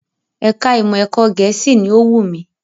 Ẹ̀ka ìmọ̀ ẹ̀kọ́ Gẹ̀ẹ́sì ni ó wù mí